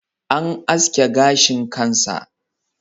An aske gashin kan sa.